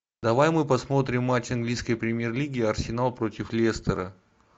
давай мы посмотрим матч английской премьер лиги арсенал против лестера